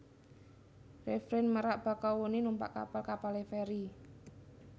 RefreinMerak Bakahuni numpak kapal kapale feri